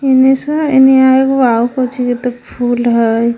एने से एने एगो आउ कउ ची के त फुल हय।